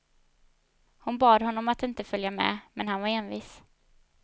Hon bad honom att inte följa med, men han var envis.